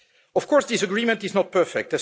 Of course, this agreement is not perfect